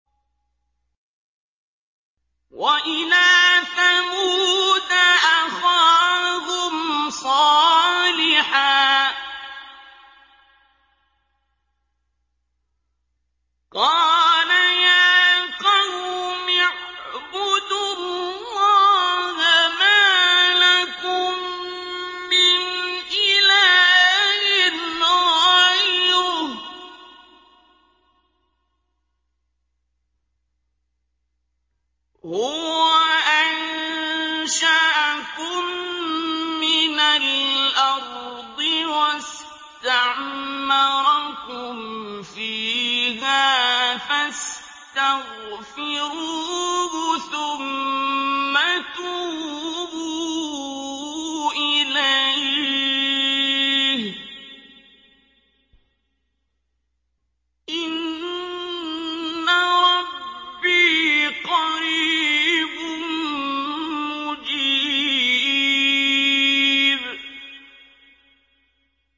۞ وَإِلَىٰ ثَمُودَ أَخَاهُمْ صَالِحًا ۚ قَالَ يَا قَوْمِ اعْبُدُوا اللَّهَ مَا لَكُم مِّنْ إِلَٰهٍ غَيْرُهُ ۖ هُوَ أَنشَأَكُم مِّنَ الْأَرْضِ وَاسْتَعْمَرَكُمْ فِيهَا فَاسْتَغْفِرُوهُ ثُمَّ تُوبُوا إِلَيْهِ ۚ إِنَّ رَبِّي قَرِيبٌ مُّجِيبٌ